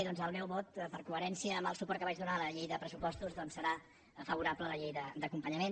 doncs el meu vot en coherència amb el suport que vaig donar a la llei de pressupostos serà favorable a la llei d’acompanyament